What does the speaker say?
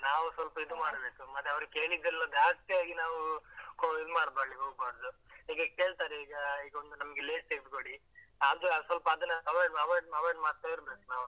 ನಾವ್ ಸ್ವಲ್ಪ ಇದು ಮಾಡ್ಬೇಕು, ಮತ್ತೆ ಅವ್ರು ಕೇಳಿದೆಲ್ಲ ಜಾಸ್ತಿಯಾಗಿ ನಾವು ಅಹ್ ಇದು ಮಡ್ಕೊಲ್ಲಿಕ್ಕೆ ಹೋಗ್ಬಾರ್ದು, ಹೀಗೆ ಕೇಳ್ತಾರೆ ಈಗ ಈಗೊಂದು ನಮಗೆ Lays ತೇಗ್ದುಕೊಡಿ ಅದು ಅಹ್ ಸ್ವಲ್ಪ ಅದನ್ನ avoid avoid avoid ಮಾಡ್ತಾ ಇರ್ಬೇಕು ನಾವು.